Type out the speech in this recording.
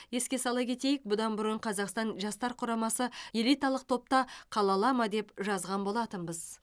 еске сала кетейік бұдан бұрын қазақстан жастар құрамасы элиталық топта қала ала ма деп жазған болатынбыз